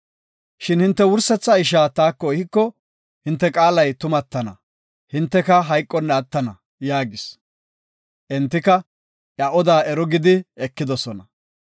Shin hinte wursetha ishaa taako ehiko, hinte qaalay tumatana; hinteka hayqonna attana” yaagis. Entika iya oda ero gidi ekidosona.